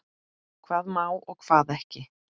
Hvað má og hvað ekki.